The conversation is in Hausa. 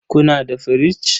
Kuna da firich?